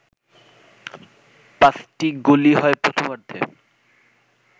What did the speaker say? পাঁচটিই গোলই হয় প্রথমার্ধে